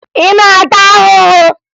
Ị na-ata ahụhụ?